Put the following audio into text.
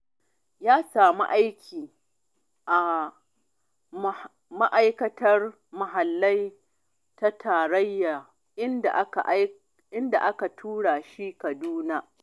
Ya samu aiki a Ma'aikatar Muhalli ta Tarayya, inda aka tura shi Kaduna.